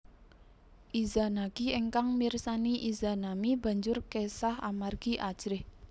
Izanagi ingkang mirsani Izanami banjur kesah amargi ajrih